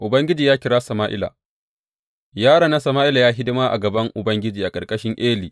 Ubangiji ya kira Sama’ila Yaron nan Sama’ila ya yi hidima a gaban Ubangiji a ƙarƙashin Eli.